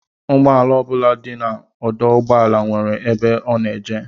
Ụgbọala ọ bụla dị n'ọdụụgbọala nwere ebe ọ na-eje